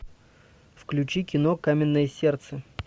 включи кино каменное сердце